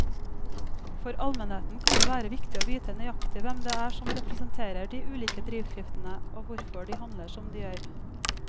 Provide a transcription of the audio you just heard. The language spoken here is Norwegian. For allmennheten kan det være viktig å vite nøyaktig hvem det er som representerer de ulike drivkreftene og hvorfor de handler som de gjør.